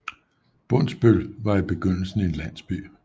Bondsbøl var i begyndelsen en landsby